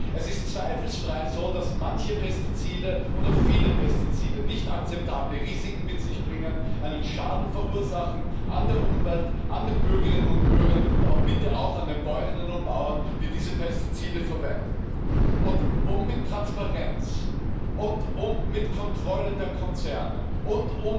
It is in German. Es ist zweifelsfrei so, dass manche Pestizide oder viele Pestizide nicht akzeptable Risiken mit sich bringen, einen Schaden verursachen an der Umwelt, an den Bürgerinnen und Bürgern, aber bitte auch an den Bäuerinnen und Bauern, die diese Pestizide verwenden. Um Pestizide im Zulassungsverfahren mit Transparenz und mit Kontrolle der Konzerne und